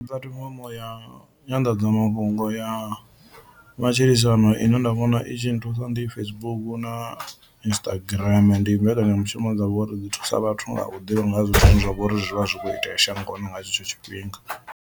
Puḽatifomo ya nyanḓadzamafhungo ya matshilisano ine nda vhona i tshi nthusa ndi Facebook na Instagram, ndi mbekanyamushumo dzine dza vhori dzi thusa vhathu nga u ḓivha nga ha zwithu zwine zwa vha uri zwi vha zwi kho itea shangoni nga tshetsho tshifhinga.